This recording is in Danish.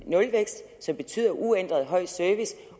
nulvækst som betyder uændret høj service